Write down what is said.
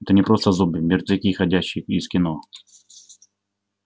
это не просто зомби мертвяки ходячие из кино